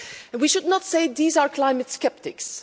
We should not say these are climate sceptics.